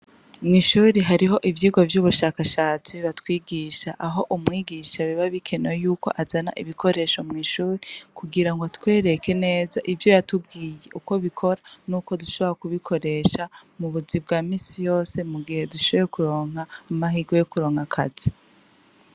Mw' ishuri hariho ivyirwa vy' ubushakashatsi batwigisha. Aho umwigisha biba bikenewe yuko azana ibikoresho mw' ishuri , kugirango atwereke neza ivyo yakubwiye ukwo bikora , n' ukwo dushobora kubikoresha mu buzi bwa minsi yose , mugihe dushoboye kuronka amahirwe yo kuronka akazi .